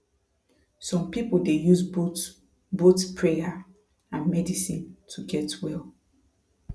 some people dey use both both prayer and medicine to get well